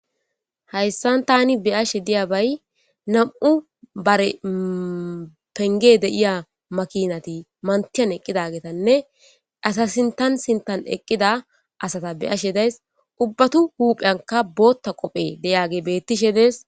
Hayssan tani be'ashe de'iya bay nam'u bare pengge de'iya makkinatti mantiyan eqqidagettin asa sinttan sinttan eqiida asata be'ashe de'ays.ubbatu huuphpheyankka bootta qoffe beettishe de'es.